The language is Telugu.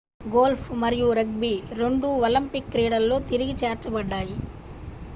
గోల్ఫ్ మరియు రగ్బీ రెండూ ఒలింపిక్ క్రీడలలో తిరిగి చేర్చబడ్డాయి